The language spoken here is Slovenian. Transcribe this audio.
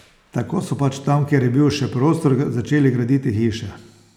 Tako so pač tam, kjer je bil še prostor, začeli graditi hiše.